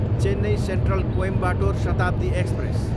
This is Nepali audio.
Chennai central, Coimbatore Shatabdi express